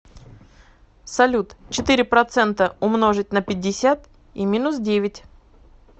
салют четыре процента умножить на пятьдесят и минус девять